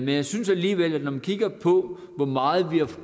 jeg synes alligevel at det når man kigger på hvor meget vi har